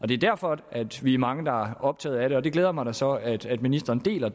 det er derfor vi er mange der er optaget af det og det glæder mig da så at at ministeren deler